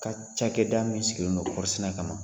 Ka cakɛ da min sigilendo kɔri sɛnɛ kama ma